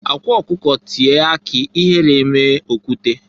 Akwa ọkụkọ tie akị ihere emee okwute.